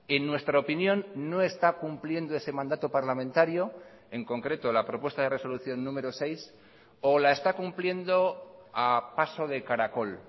en nuestra opinión no está cumpliendo ese mandato parlamentario en concreto la propuesta de resolución número seis o la está cumpliendo a paso de caracol